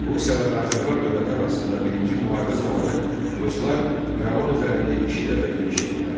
Rusiya və Qacarlar dövləti arasında birinci müharibə zamanı ruslar İrəvan üzərində iki dəfə yürüş etdilər.